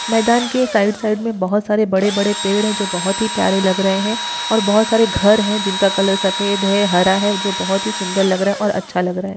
मैदान के side side में बहुत सारे बड़े-बड़े पेड़ हैं जो बहुत ही प्यारे लग रहे हैं और बहुत ही सारे घर हैं जो जिनका कलर सफेद है हरा है जो बहुत ही सुंदर लग रहे हैं और अच्छा लग रहे हैं।